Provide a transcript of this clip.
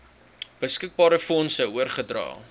beskikbare fondse oorgedra